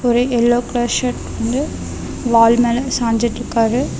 ஒரு yellow colour shirt வந்து wall மேல சாஞ்சுட்ருக்காரு.